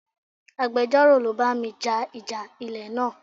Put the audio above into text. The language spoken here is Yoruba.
Agbejoro ló bá mi ja ìjà ilẹ̀ náà.